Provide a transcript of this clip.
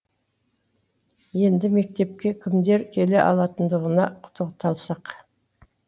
енді мектепке кімдер келе алатындығына тоқталсақ